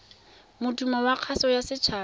modumo wa kgaso ya setshaba